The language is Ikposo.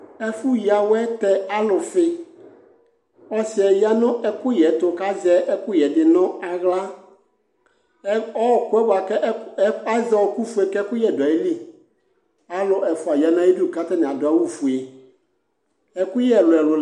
Ɛfʋyǝwɛ tɛ alʋfɩ Ɔsɩ ya nʋ ɛkʋyɛ ɛtʋ kʋ azɛ ɛkʋyɛ yɛ dɩ nʋ aɣla Ɛ ɔɣɔkʋ yɛ bʋa kʋ ɛkʋ azɛ ɔɣɔkʋfue kʋ ɛkʋyɛ dʋ ayili Alʋ ɛfʋa ya nʋ ayɩdu kʋ atanɩ adʋ awʋfue Ɛkʋyɛ ɛlʋ-ɛlʋ